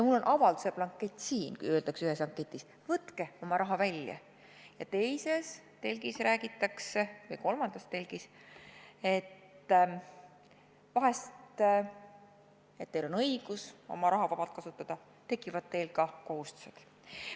Mul on avalduse blankett siin, öeldakse ühes telgis, võtke oma raha välja, ja teises telgis või kolmandas telgis räägitakse, et teil on õigus oma raha vabalt kasutada ja vahest tekivad teil ka kohustused.